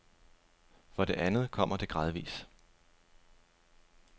For det andet kommer det gradvis.